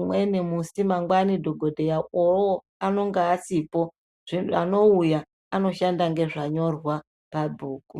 umweni musi mangwani dhokodheya uwowo anonga asipo zvi-anouya anoshanda ngezvanyorwa pabhuku.